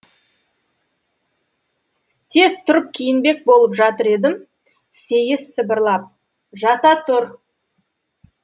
тез тұрып киінбек болып жатыр едім сейіс сыбырлап жата тұр